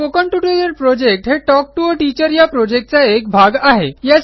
spoken tutorial project हे talk to teacher या प्रॉजेक्टचा एक भाग आहे